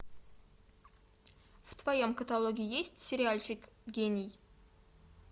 в твоем каталоге есть сериальчик гений